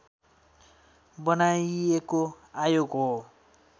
बनाइएको आयोग हो